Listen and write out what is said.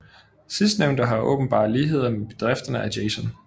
Sidstnævnte har åbenbare ligheder med bedrifterne af Jason